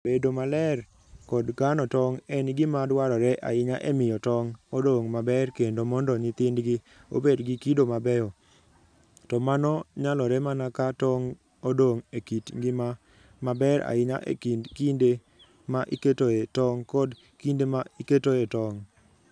Bedo maler kod kano tong' en gima dwarore ahinya e miyo tong' odong' maber kendo mondo nyithindgi obed gi kido mabeyo, to mano nyalore mana ka tong' odong' e kit ngima maber ahinya e kind kinde ma iketoe tong' kod kinde ma iketoe tong'.